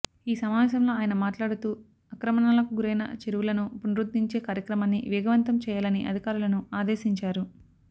ఈ సమావేశంలో ఆయన మాట్లాడుతూఆక్రమణ లకు గురైన చెరువులను పునరుద్దరించే కార్యక్రమాన్ని వేగవంతం చెయ్యాలని అధికారులను ఆదేశించారు